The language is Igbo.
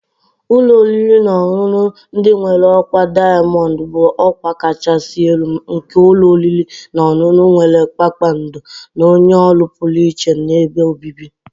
Ụlọ oriri na ọṅụṅụ ndị nwere ọkwa diamond bụ ọkwa kachasị elu nke ụlọ oriri na ọṅụṅụ nwere kpakpando, na-enye ọrụ pụrụ iche na ebe obibi.